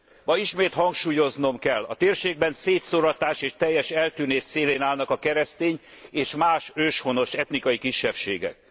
Ma ismét hangsúlyoznom kell, a térségben szétszóratás és teljes eltűnés szélén állnak a keresztény és más őshonos etnikai kisebbségek.